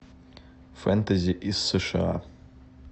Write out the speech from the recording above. фэнтези из сша